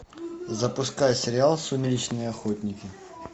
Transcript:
запускай сериал сумеречные охотники